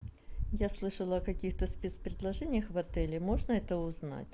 я слышала о каких то спец предложениях в отеле можно это узнать